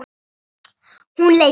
Hún leit undan.